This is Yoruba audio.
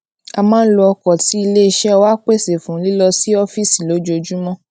a máa ń lo ọkọ tí iléiṣẹ wa pèsè fún lílọ sí ófíìsì lójoojúmó